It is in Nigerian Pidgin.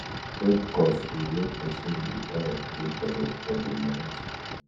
To save cost um make persin um draw im food budget for di month